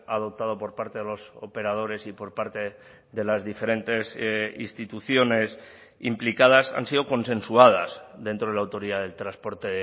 adoptado por parte de los operadores y por parte de las diferentes instituciones implicadas han sido consensuadas dentro de la autoridad del transporte